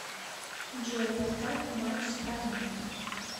джой поставь матч страна